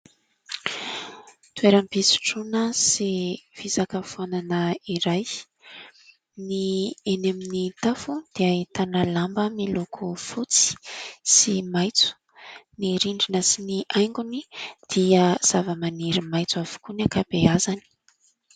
Toeram-pisotroana sy fisakafoanana iray, ny eny amin'ny tafo dia ahitana lamba miloko fotsy sy maitso. Ny rindrina sy ny haingony dia zava-maniry maitso avokoa ny ankabeazany.